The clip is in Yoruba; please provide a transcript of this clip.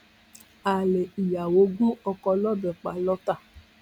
alẹ ìyàwó gun oko lọbẹ pa lọtà